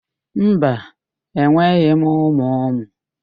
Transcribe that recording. Mba, enweghị m ụmụ ụmụ.